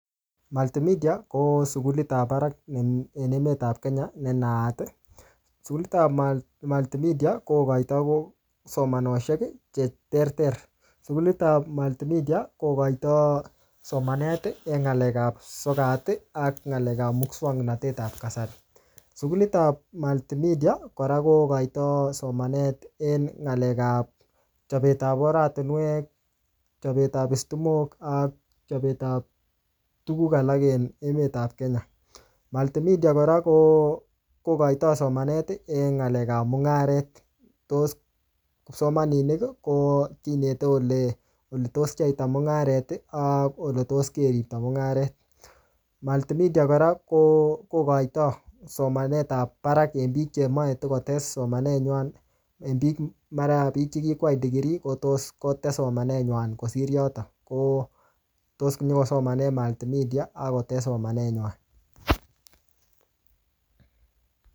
Multimedia, ko sukulit ap barak en emet ap Kenya ne naat. Sukulit ap Multimedia, kokoitoi ko somanoshek che ter ter. Sukulit ap Multimedia, kokoitoi somanet, eng ng'alek ap sokat, ak ng'alek ap muswoknotet ap kasari. Sukulit ap Multimedia, kora kokoitoi somanet eng ng'alek ap chapet ap oratunwek, chapet ap stimok, ak chapet ap tuguk alak en emet ap Kenya. Multimedia kora, ko kokoitoi somanet en ng'alek ap mung'aret. Tos kipsomaninik, ko kineti ole-ole tos pcheita mung'aret, ak ole tos keripto mung'aret. Multimedia kora, ko kokoitoi somanet ap barak en biik chemache tikotes somanet nywan. Eng biik mara biik che kikwai degree ko tos kotes somanet nywan kosir yotok. Ko tos nyikosomane Multimedia, akotes somanet nywan